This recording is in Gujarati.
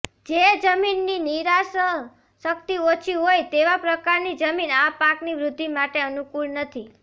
જે જમીનની નિતારશક્તિ ઓછી હોય તેવા પ્રકારની જમીન આ પાકની વૃદ્ધિ માટે અનુકૂળ નથી